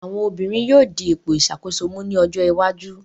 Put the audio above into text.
Àwọn obìnrin yóò di ipò ìṣàkóso mú ní ojó iwájú.